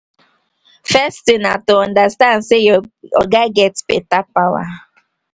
first thing na to understand sey your oga get better power